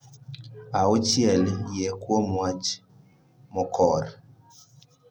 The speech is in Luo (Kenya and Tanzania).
Auchiel, Yie Kuom Wach Mokor (Qadar).